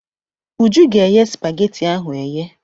Uju ga-eye spageti ahụ eye.